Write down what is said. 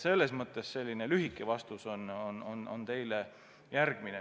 Selline lühike vastus sellele küsimusele.